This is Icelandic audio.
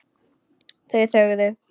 Þau þögðu.